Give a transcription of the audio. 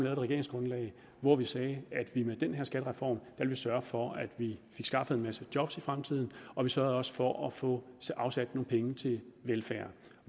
et regeringsgrundlag hvor vi sagde at vi med den her skattereform ville sørge for at vi fik skaffet en masse job i fremtiden og vi sørgede også for at få afsat nogle penge til velfærd